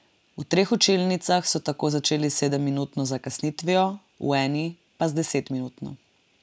V treh učilnicah so tako začeli s sedemminutno zakasnitvijo, v eni pa z desetminutno.